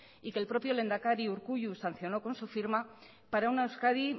y que el propio lehendakari urkullu sancionó con su firma para una euskadi